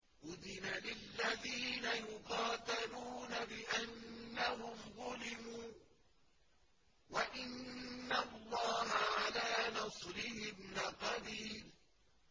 أُذِنَ لِلَّذِينَ يُقَاتَلُونَ بِأَنَّهُمْ ظُلِمُوا ۚ وَإِنَّ اللَّهَ عَلَىٰ نَصْرِهِمْ لَقَدِيرٌ